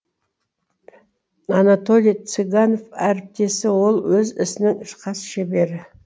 анатолий цыганов әріптесі ол өз ісінің хас шебері